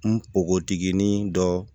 Npogotiginin dɔ